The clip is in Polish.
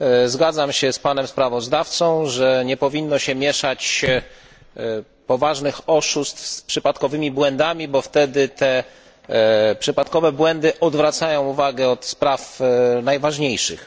Zgadzam się ze sprawozdawcą, że nie powinno się mieszać poważnych oszustw z przypadkowymi błędami, bo wtedy te przypadkowe błędy odwracają uwagę od spraw najważniejszych.